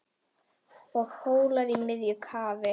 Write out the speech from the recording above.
og Hólar í miðju kafi